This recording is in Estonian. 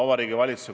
See on väga hea.